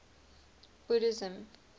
buddhism